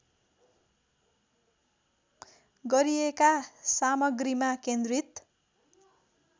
गरिएका सामग्रीमा केन्द्रित